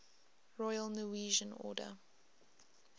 royal norwegian order